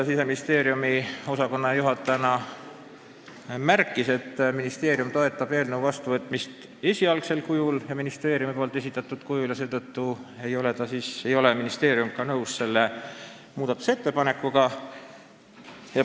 Siseministeeriumi osakonnajuhataja Ruth Annus märkis, et ministeerium toetab eelnõu vastuvõtmist esialgsel, ministeeriumi esitatud kujul, mistõttu ei ole ministeerium selle muudatusettepanekuga nõus.